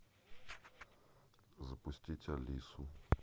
запустить алису